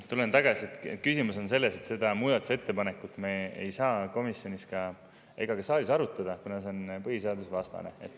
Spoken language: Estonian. Tulen tagasi selle juurde, et küsimus on selles, et seda muudatusettepanekut me ei saa ei komisjonis ega ka saalis arutada, kuna see on põhiseadusvastane.